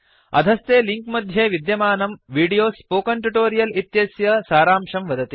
अधस्थे लिंक मध्ये विद्यमानं वीडियो स्पोकन ट्युटोरियल् इत्यस्य सारांशं वदति